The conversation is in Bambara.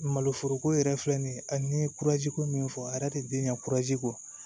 Malo foroko yɛrɛ filɛ nin ye a ni kurazi ko min fɔ a yɛrɛ tɛ den ɲɛ kɔ